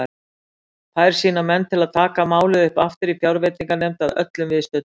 Fær sína menn til að taka málið upp aftur í fjárveitinganefnd að öllum viðstöddum.